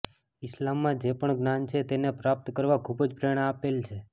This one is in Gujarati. ઇસ્લામમાં જે પણ જ્ઞાન છે તેને પ્રાપ્ત કરવા ખૂબજ પ્રેરણા આપેલ છે